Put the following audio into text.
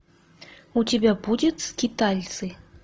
у тебя будет скитальцы